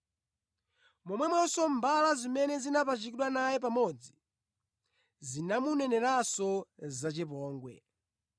Momwemonso mbala zimene zinapachikidwa naye pamodzi zinamuneneranso zachipongwe.